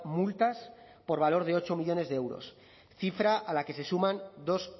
multas por valor de ocho millónes de euros cifra a la que se suman dos